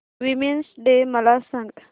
women's day मला सांग